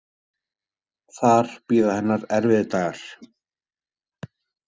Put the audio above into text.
Þar bíða hennar erfiðir dagar.